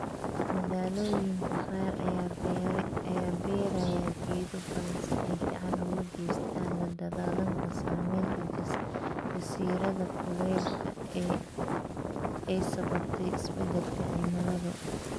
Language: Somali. Magaalooyinka qaar ayaa beeraya geedo badan si ay gacan uga geystaan la dagaalanka saamaynta jasiiradda kulaylka ee ay sababtay isbeddelka cimiladu.